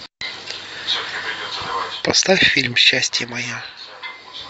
поставь фильм счастье мое